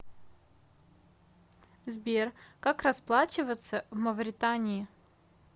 сбер как расплачиваться в мавритании